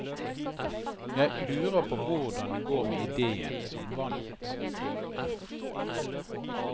Jeg lurer på hvordan det går med idéen som vant.